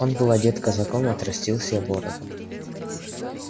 он был одет казаком отрастил себе бороду